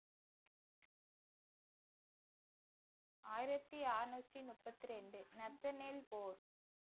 ஆயிரத்தி அறுநூற்று முப்பத்தி இரண்டு நத்தனில் போர்